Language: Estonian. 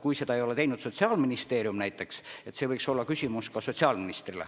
Kui seda on teinud Sotsiaalministeerium, siis see võiks olla küsimus sotsiaalministrile.